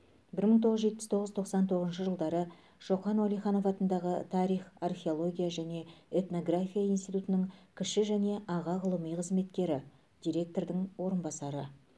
бір мың тоғыз жүз жетпіс тоғыз тоқсан тоғызыншы жылдары шоқан уәлиханов атындағы тарих археология және этнография институтының кіші және аға ғылыми қызметкері директордың орынбасары